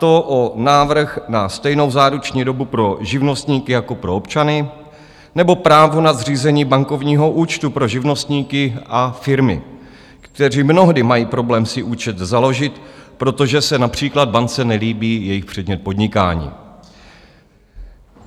To je návrh na stejnou záruční dobu pro živnostníky jako pro občany nebo právo na zřízení bankovního účtu pro živnostníky a firmy, kteří mnohdy mají problém si účet založit, protože se například bance nelíbí jejich předmět podnikání.